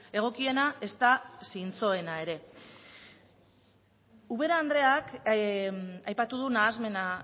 egokiena ezta zintzoena ere ubera andreak aipatu du nahasmena